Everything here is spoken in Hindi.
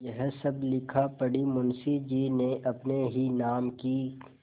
यह सब लिखापढ़ी मुंशीजी ने अपने ही नाम की क्